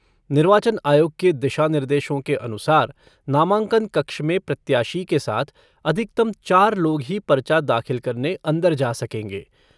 निर्वाचन आयोग के दिशा निर्देशों के अनुसार नामांकन कक्ष में प्रत्याशी के साथ अधिकतम चार लोग ही पर्चा दाखिल करने अंदर जा सकेंगे,